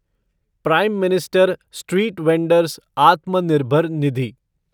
prime minister street vendor's Atmanirbhar Nidhi